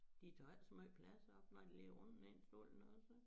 De tager ikke så meget op når de ligger rundt nede stolen også